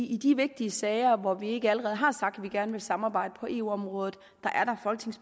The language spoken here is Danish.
i de vigtige sager hvor vi ikke allerede har sagt at vi gerne vil samarbejde på eu området